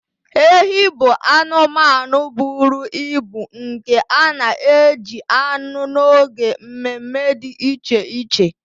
Ehi bụ anụmanụ buru ibu nke a na-eji anụ n'oge mme mme dị iche iche